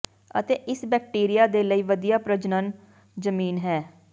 ਅਤੇ ਇਸ ਬੈਕਟੀਰੀਆ ਦੇ ਲਈ ਵਧੀਆ ਪ੍ਰਜਨਨ ਜ਼ਮੀਨ ਹੈ